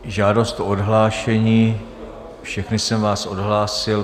Žádost o odhlášení - všechny jsem vás odhlásil.